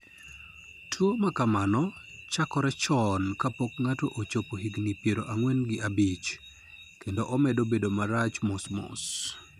Tuwo ma kamano chakore chon kapok ng'ato ochopo higini piero ang'wen gi abich, kendo omedo bedo marach mos mos.